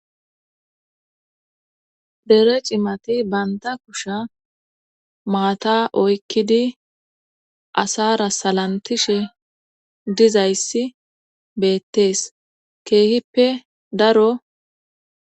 Dere cimati banta kusha maata oykkidi asara salantishe dizayssi beettees keehippe daro